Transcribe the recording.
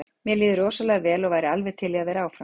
Mér líður rosalega vel og væri alveg til í að vera áfram.